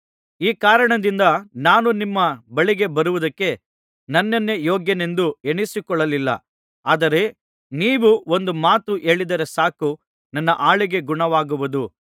ಈ ಕಾರಣದಿಂದ ನಾನು ನಿಮ್ಮ ಬಳಿಗೆ ಬರುವುದಕ್ಕೆ ನನ್ನನ್ನೇ ಯೋಗ್ಯನೆಂದು ಎಣಿಸಿಕೊಳ್ಳಲಿಲ್ಲ ಆದರೆ ನೀವು ಒಂದು ಮಾತು ಹೇಳಿದರೆ ಸಾಕು ನನ್ನ ಆಳಿಗೆ ಗುಣವಾಗುವುದು